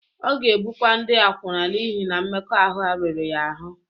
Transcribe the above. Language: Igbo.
Ọ ga-ebukwa ndị akwụna n’ihi na mmekọahụ riri ya ahụ́.